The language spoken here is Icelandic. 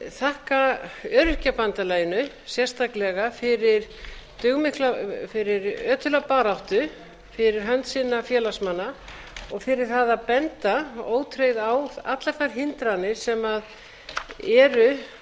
þakka öryrkjabandalaginu sérstaklega fyrir ötula baráttu fyrir hönd sinna félagsmanna og fyrir það að benda ótrauð á allar þær hindranir sem eru og